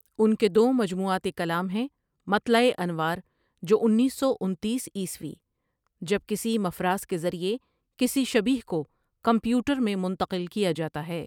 ان کے دو مجموعات کلام ہیں مطلع انوار جو انیس سو انتیس عیسوی جب کسی مفراس کے ذریعے کسی شبیہہ کو کمپیوٹر میں منتقل کیا جاتا ہے ۔